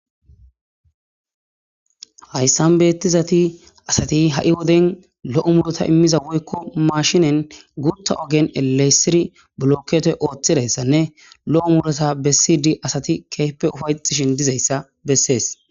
Haysan beetizayti asati ha' wode lo'o muuruta imiza woyko machinen guutha ogen elelisidi blokette oothidaysanne, lo7o muuruta besidi asati keehipe ufa'etishin dizayssa beses.